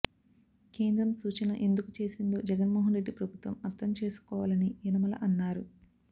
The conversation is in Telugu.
కేంద్రం సూచన ఎందుకు చేసిందో జగన్మోహనరెడ్డి ప్రభుత్వం అర్థం చేసుకోవాలని యనమల అన్నారు